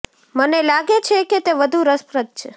મને લાગે છે કે તે વધુ રસપ્રદ છે